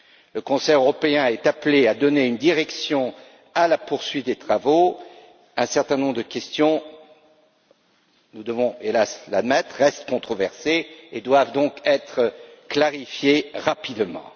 Le Conseil européen est appelé à donner une direction à la poursuite des travaux, un certain nombre de questions nous devons hélas l'admettre restent controversées et doivent donc être clarifiées rapidement.